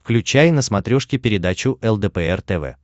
включай на смотрешке передачу лдпр тв